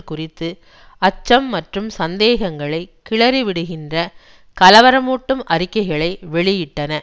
குறித்து அச்சம் மற்றும் சந்தேகங்களை கிளறிவிடுகின்ற கலவரமூட்டும் அறிக்கைகளை வெளியிட்டன